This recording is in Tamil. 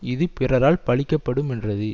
இது பிறரால் பழிக்கப்படுமென்றது